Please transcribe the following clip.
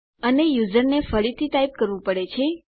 અને યુઝરએ ફરીથી ટાઈપ કરવું પડે છે